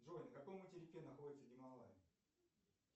джой на каком материке находятся гималаи